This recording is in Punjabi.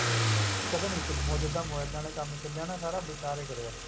ਪਤਾ ਨੀ ਜਿੱਦਾਂ ਮੋਬਾਇਲਾਂ ਦਾ ਕੰਮ ਚੱਲਿਆ ਨਾ ਸਾਰਾ ਬਿਕਾਰ ਈ ਕਰਿਆ